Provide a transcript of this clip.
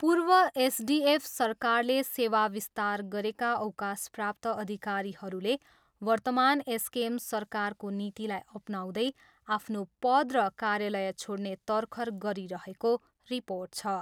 पूर्व एसडिएफ सरकारले सेवा विस्तार गरेका अवकाशप्राप्त अधिकारीहरूले वर्तमान एसकेएम सरकारको नीतिलाई अपनाउँदै आफ्नो पद र कार्यालय छोड्ने तरखर गरिरहेको रिर्पोट छ।